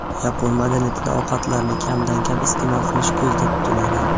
Yapon madaniyatida ovqatlarni kam-kamdan iste’mol qilish ko‘zda tutiladi.